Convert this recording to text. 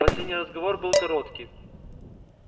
последний разговор был короткий